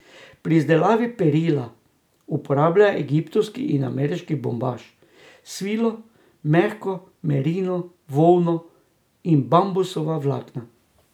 Pri izdelavi perila uporabljajo egiptovski in ameriški bombaž, svilo, mehko merino volno in bambusova vlakna.